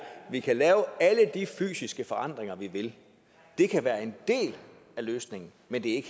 vi kan lave alle de fysiske forandringer vi vil det kan være en vi